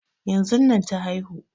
Yanzun nan ta haihu